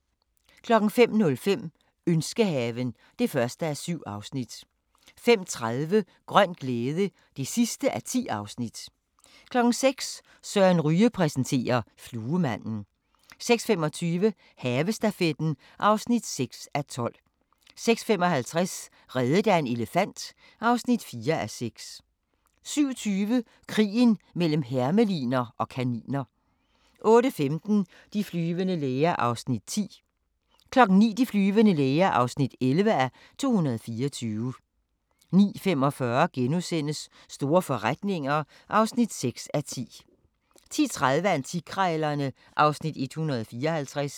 05:05: Ønskehaven (1:7) 05:30: Grøn glæde (10:10) 06:00: Søren Ryge præsenterer: Fluemanden 06:25: Havestafetten (6:12) 06:55: Reddet af en elefant (4:6) 07:20: Krigen mellem hermeliner og kaniner 08:15: De flyvende læger (10:224) 09:00: De flyvende læger (11:224) 09:45: Store forretninger (6:10)* 10:30: Antikkrejlerne (Afs. 154)